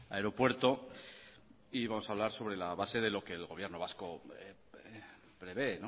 aeropuerto y vamos a hablar sobre la base de lo que el gobierno vasco prevé